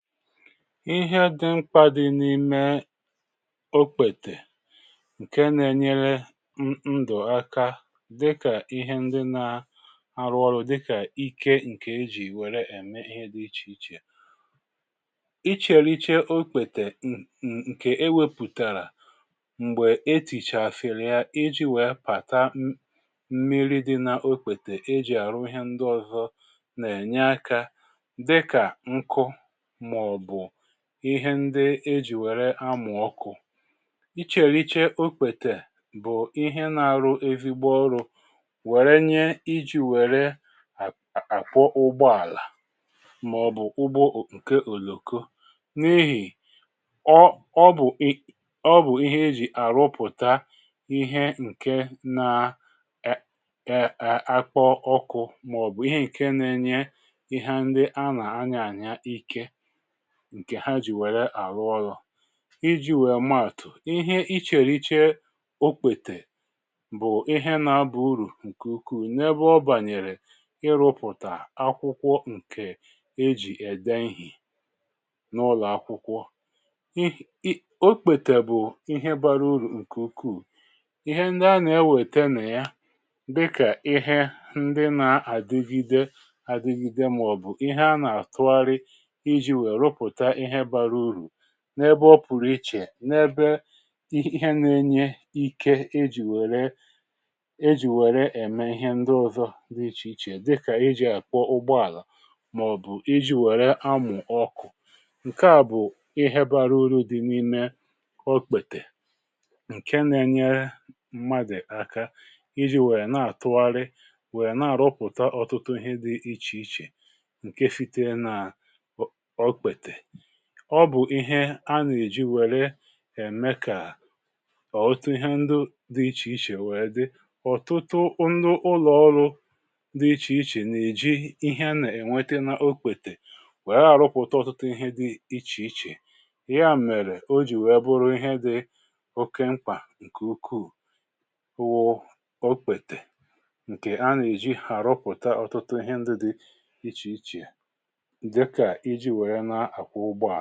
Ịhẹ dị mkpa dị n’ime okpètè ǹkè nà-enyere ndụ̀ aka dịkà ihe ndị nà arụ ọrụ dịkà ikė ǹkè e jì wère ème ihe dị ichè ichè. Ịchèriche okpètè ǹkè e wepụ̀tàrà m̀gbè etìchàsiri ya iji̇ wèe pàta mmiri dị nà okpètè e jì àrụ ihe ndị ọ̀zọ nà-ènye aka dịkà nkụ, ma ọbu ihe ndi eji̇ wère amùọkụ̀. Ịchèrìchè okpètè bụ̀ ihe na-arụ ezigbo ọrụ̇ wère nye iji̇ wère àkpọ ụgbọàlà, màọ̀bụ̀ ụgbọ ǹke òlòkọ n’ihì ọ ọ bụ̀ i ọ bụ̀ ihe eji̇ àrụpụ̀ta ihe ǹke na ee àkpọ ọkụ̇ màọ̀bụ̀ ihe ǹke na-enye ihe ndi a nà anya ànyà ike ǹkè ha jì wère àrụ ọlọ̇ iji̇ wèe matụ́: ihe ichèrìche okpètè bụ̀ ihe nà-abà urù ǹkè ukwuù n’ebe ọ bànyèrè ịrụ̇pụ̀tà akwụkwọ ǹkè ejì ède ihì n’ụlọ̀ akwụkwọ. Um okpètè bụ̀ ihe bara ụrù ǹkè ukwuù ihe ndị ana-ewète nà ya dịkà ihe ndị nà àdigide àdigide màọ̀bụ̀ ihe a nà-àtụgharị iji wee rụpụta ihe bara uru n’ebe ọ pụ̀rụ̀ ichè n’ebe ihe na-enye ike ejì wèrè ejì wèrè ème ihe ndị ọ̇zọ̇ dị ichè ichè dịkà, iji̇ àkwọ ụgbọàlà màọ̀bụ̀ iji̇ wère amụ̀ ọkụ̇ ǹke à bụ̀ ihe bara uru dị n’ime okpètè ǹke na-enyere mmadụ̀ aka iji̇ wèe na-àtụgharị wèe na-àrọpụ̀ta ọtụtụ ihe dị ichè ichè nke sitere na okpete. Ọbụ̀ ihe a nà-èji wère ème kà ọtụtụ ihe ndị dị ichè ichè wèe dị. Òtụtụ ndị ụlọ̀ọrụ dị ichè ichè nà-èji ihe nà-ènwete n’okpètè wèe rụpụ̀ta ọ̀tụtụ ihe dị̇ ichèichè ya mèrè o jì wèe bụrụ ihe dị oke mkpà ǹkè ukwuụ wụọ okpètè ǹkè a nà-èji arụpụ̀ta ọ̀tụtụ ihe ndị dị ichè ichè dika iji wee na akwọ ùgbòa.